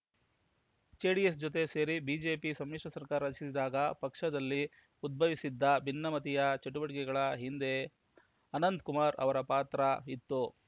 JDS ಜೊತೆ ಸೇರಿ BJP ಸಮ್ಮಿಶ್ರ ಸರ್ಕಾರ ರಚಿಸಿದಾಗ ಪಕ್ಷದಲ್ಲಿ ಉದ್ಭವಿಸಿದ್ದ ಭಿನ್ನಮತೀಯ ಚಟುವಟಿಕೆಗಳ ಹಿಂದೆ ಅನಂತಕುಮಾರ್‌ ಅವರ ಪಾತ್ರ ಇತ್ತು